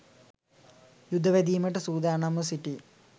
යුද වැදීමට සූදානම්ව සිටි